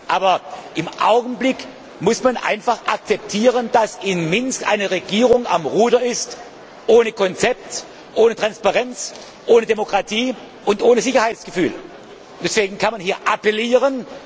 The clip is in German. bringen. Aber im Augenblick muss man einfach akzeptieren, dass in Minsk eine Regierung ohne Konzept, ohne Transparenz, ohne Demokratie und ohne Sicherheitsgefühl am Ruder ist. Deswegen kann man hier nur appellieren.